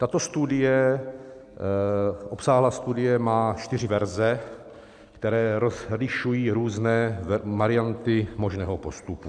Tato studie, obsáhlá studie, má čtyři verze, které rozlišují různé varianty možného postupu.